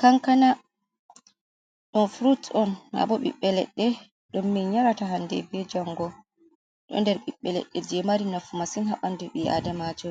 Kankana, ɗo furut'on maabo ɓiɓɓe ledɗe ɗon min yarata hande bee jango, ɗon nder ɓiɓɓe leɗɗe jei mari nafu masin haa ɓandu ɓi’aadamajo,